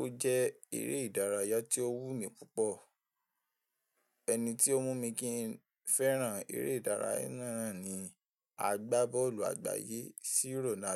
Ó jẹ́ eré ìdárayá tí ó wù mí púpọ̀. Ẹni tí ó mú mi kí n fẹ́ràn eré ìdárayá náà ni agbábọ́ọ̀lù àgbáyé C. Ronaldo.